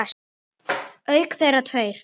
Auk þeirra tveir